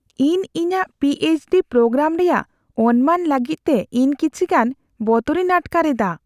ᱤᱧ ᱤᱧᱟᱹᱜ P H D programme ᱨᱮᱭᱟᱜ ᱚᱱᱢᱟᱱ ᱞᱟᱹᱜᱤᱫ ᱛᱮ ᱤᱧ ᱠᱤᱪᱷᱤ ᱜᱟᱱ ᱵᱚᱛᱚᱨᱤᱧ ᱟᱴᱠᱟᱨ ᱮᱫᱟ ᱾